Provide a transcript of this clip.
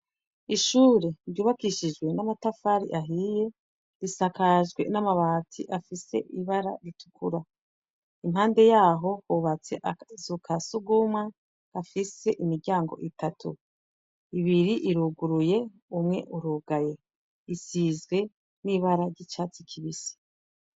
Ishure ryubakishijwe n'amatafari ahiye risakajwe n'amabati afise ibara ritukura. Impande yaho hubatse akazu ka sugumwe gafise imiryango itatu. Ibiri iruguruye, umwe urugaye. Isize n'ibara ry'icatsi kibisi.